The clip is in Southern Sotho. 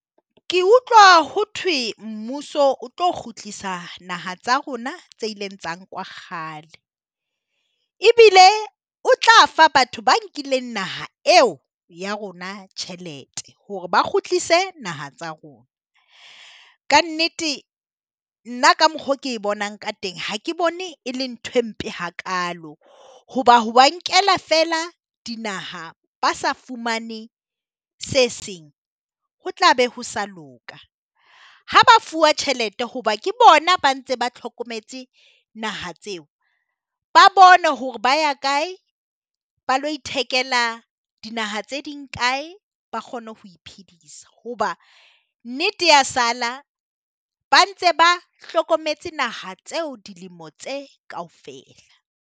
Ke utlwa ho thwe mmuso o tlo kgutlisa naha tsa rona tse ileng tsa nkwa kgale, ebile o tla fa batho ba nkileng naha eo ya rona tjhelete hore ba kgutlise naha tsa rona. Kannete nna ka mokgo ke e bonang ka teng ha ke bone e le nthwe mpe hakaalo hoba ho ba nkela feela dinaha ba sa fumane se seng ho tlabe ho sa loka. Ha ba fuwa tjhelete hoba ke bona ba ntse ba tlhokometse naha tseo ba bone hore ba ya kae ba lo ithekela dinaha tse ding kae. Ba kgone ho iphedisa hoba nnete ya sala ba ntse ba hlokometse naha tseo dilemo tse kaofela.